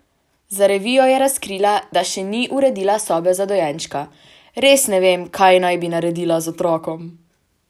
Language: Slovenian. Za revijo je razkrila, da še ni uredila sobe za dojenčka: "Res ne vem, kaj naj bi naredila z otrokom.